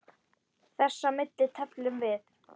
Þess á milli tefldum við.